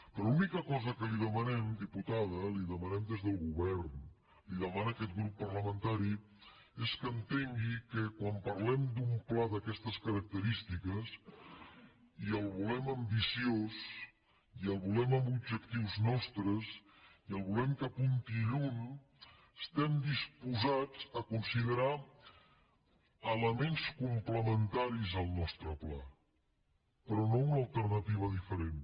però l’única cosa que li demanem diputada li ho demanem des del govern li ho demana aquest grup parlamentari és que entengui que quan parlem d’un pla d’aquestes característiques i el volem ambiciós i el volem amb objectius nostres i el volem que apunti lluny estem disposats a considerar elements complementaris al nostre pla però no una alternativa diferent